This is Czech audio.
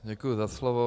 Děkuji za slovo.